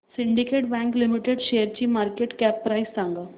Syndicate bank limited शेअरची market cap price सांगा